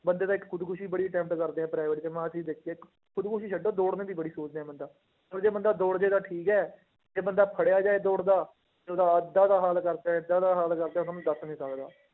ਬੰਦੇ ਤਾਂ ਇੱਕ ਖੁਦਕੁਸ਼ੀ ਬੜੀ attempt ਕਰਦੇ ਆ private 'ਚ, ਮੈ ਆਹ ਚੀਜ਼ ਦੇਖੀ ਆ ਇੱਕ ਖੁਦਕੁਸ਼ੀ ਛੱਡੋ ਦੋੜਨੇ ਦੀ ਬੜੀ ਸੋਚਦੇ ਆ ਬੰਦਾ, ਚੱਲ ਜੇ ਬੰਦਾ ਦੋੜ ਜਾਏਗਾ ਠੀਕ ਹੈ, ਜੇ ਬੰਦਾ ਫੜਿਆ ਜਾਏ ਦੋੜਦਾ ਤੇ ਉਹਦਾ ਏਦਾਂ ਦਾ ਹਾਲ ਕਰਦੇ ਹੈ, ਏਦਾਂ ਦਾ ਹਾਲ ਕਰਦੇ ਹੈ ਤੁਹਾਨੂੰ ਦੱਸ ਨੀ ਸਕਦਾ।